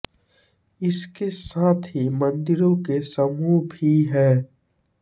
इसके साथ ही मंदिरों के समूह भी हैं